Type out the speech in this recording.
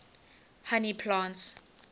honey plants